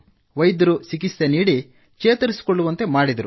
ವೈದ್ಯರು ಚಿಕಿತ್ಸೆ ನೀಡಿ ಚೇತರಿಸಿಕೊಳ್ಳುವಂತೆ ಮಾಡಿದರು